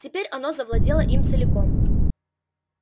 теперь оно завладело им целиком